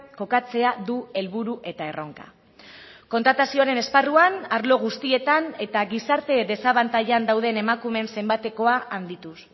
kokatzea du helburu eta erronka kontratazioaren esparruan arlo guztietan eta gizarte desabantailan dauden emakumeen zenbatekoa handituz